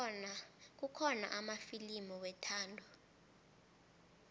kukhona amafilimu wethando